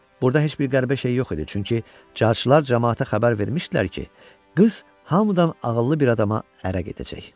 Burda heç bir qəribə şey yox idi, çünki carçılar camaata xəbər vermişdilər ki, qız hamıdan ağıllı bir adama ərə gedəcək.